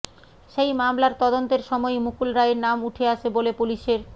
সেই মামলার তদন্তের সময়েই মুকুল রায়ের নাম উঠে আসে বলে পুলিশের